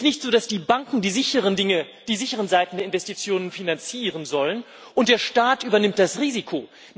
Es ist nicht so, dass die Banken die sicheren Seiten der Investitionen finanzieren sollen und der Staat übernimmt das Risiko.